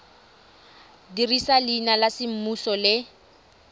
dirisa leina la semmuso le